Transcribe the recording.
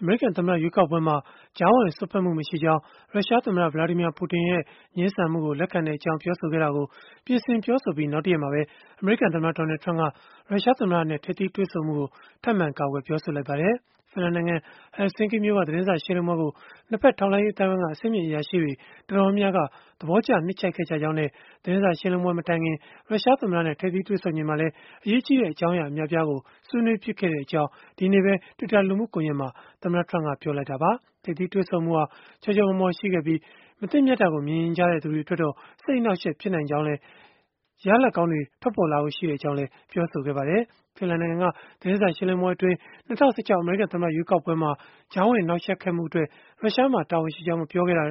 အမေရိကန်သမ္မတ ရွေးကောက်ပွဲမှာ ကြားဝင်စွက်ဖက်မှု မရှိကြောင်း ရုရှားသမ္မတ Vladimir Putin ရဲ့ ငြင်းဆန်ပြောဆိုမှုကို လက်ခံကြောင်း ပြောဆိုခဲ့တာကို ပြင်ဆင်ပြောဆိုခဲ့ပြီး နောက်တရက်မှာပဲ အမေရိကန်သမ္မတ Donald Trump က ရုရှားသမ္မတနဲ့ ထိပ်သီးတွေ့ဆုံမှုကို ထပ်မံကာကွယ် ပြောဆိုလိုက်ပါတယ်။ ဖင်လန်နိုင်ငံ Helsinki မြို့က သတင်းစာရှင်းလင်းပွဲကို ၂ ဘက်ထောက်လှမ်းရေး အသိုင်းအဝန်းက အဆင့်မြင့် အရာရှိတွေ တော်တော်များများက သဘောကျနှစ်ခြိုက်ခဲ့ကြကြောင်းနဲ့ သတင်းစာရှင်းလင်းပွဲ မတိုင်ခင် ရုရှားသမ္မတနဲ့ ထိပ်သီးတွေ့ဆုံချိန်မှာလည်း အရေးကြီးတဲ့ အကြောင်းအရာ အများအပြားကို ဆွေးနွေးဖြစ်ခဲ့ကြောင်းလည်း ဒီနေ့ပဲ Twitter လူမှုကွန်ယက်မှာ သမ္မတ Trump ကပြောလိုက်တာပါ။ ထိပ်သီးတွေ့ဆုံမှုဟာ ချောချောမောမော ရှိခဲ့ပြီး၊ မသင့်မြတ်တာကို မြင်ချင်ကြတဲ့ သူတွေအတွက်တော့ စိတ်အနှောက်အယှက် ဖြစ်နိုင်ကြောင်းလည်းနဲ့ ရလဒ်ကောင်းတွေ ထွက်ပေါ်လာဖို့ရှိကြောင်းလည်း ပြောဆိုခဲ့ပါတယ်။ ဖင်လန်နိုင်ငံက သတင်းစာရှင်းလင်းပွဲအတွင်း ၂၀၁၆ အမေရိကန် သမ္မတရွေးကောက်ပွဲမှာ ကြားဝင်နှောက်ယှက်ခဲ့မှုအတွက် ရုရှားမှာ တာဝန်ရှိကြောင်း မပြောခဲ့တဲ့